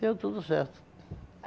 Deu tudo certo.